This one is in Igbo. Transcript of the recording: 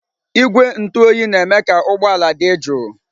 Igwe ntụ oyi na-eme ka ụgbọ ala dị jụụ.